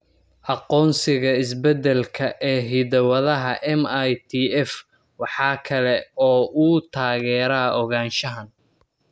Aqoonsiga isbeddelka (isbeddelka) ee hidda-wadaha MITF waxa kale oo uu taageeraa ogaanshahan.